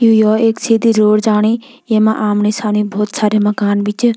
यु यो एक सीधी रोड जाणी येमा आमणि सामणी भोत सारी मकान भी च।